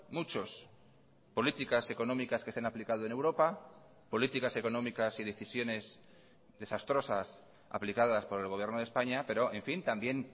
muchos políticas económicas que se han aplicado en europa políticas económicas y decisiones desastrosas aplicadas por el gobierno de españa pero en fin también